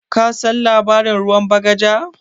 Kasan labarin ruwan bagaja?